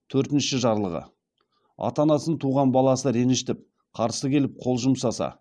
төртінші жарлығы ата анасын туған баласы ренжітіп қарсы келіп қол жұмсаса